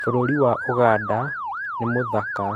burũrĩ Wa Ũganda nĩ mũthaka.